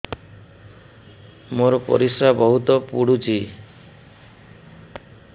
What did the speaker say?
ମୋର ପରିସ୍ରା ବହୁତ ପୁଡୁଚି